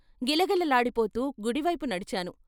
గిలగిలలాడిపోతూ గుడివైపు నడిచాను.